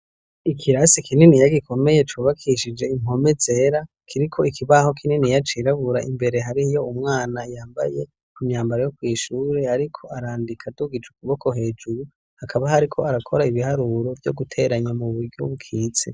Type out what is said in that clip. Ikirasi kinini gikomeye cubakishije impome zera . Kiriko ikibaho kininiya cirabura. Imbere, har'iyo umwana yambaye imyambaro yo kw'ishure ariko arandika adugica ukuboko hejuru. Akaba yariko arakora ibiharuro vyo guteranya mu buryo bukitse.